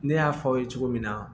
Ne y'a fɔ aw ye cogo min na